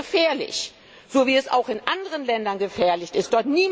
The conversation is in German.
Das ist gefährlich so wie es auch in anderen Ländern gefährlich ist.